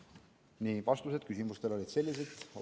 Nii, vastused küsimustele olid sellised.